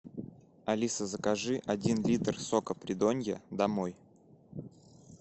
алиса закажи один литр сока придонья домой